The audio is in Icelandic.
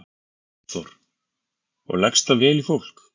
Hafþór: Og leggst það vel í fólk?